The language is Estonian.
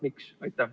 Miks?